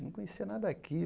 Não conhecia nada